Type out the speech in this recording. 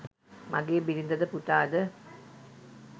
මගේ බිරිඳ ද පුතා ද